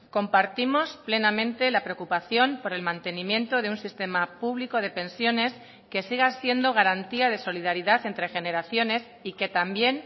compartimos plenamente la preocupación por el mantenimiento de un sistema público de pensiones que siga siendo garantía de solidaridad entre generaciones y que también